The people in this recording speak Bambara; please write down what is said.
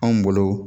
Anw bolo